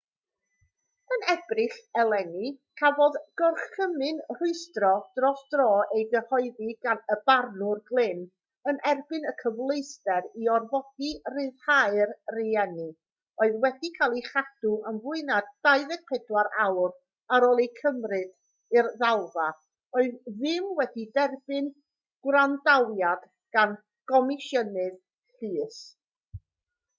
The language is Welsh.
yn ebrill eleni cafodd gorchymyn rhwystro dros dro ei gyhoeddi gan y barnwr glynn yn erbyn y cyfleuster i orfodi rhyddhau'r rheini oedd wedi cael eu cadw am fwy na 24 awr ar ôl eu cymryd i'r ddalfa oedd ddim wedi derbyn gwrandawiad gan gomisiynydd llys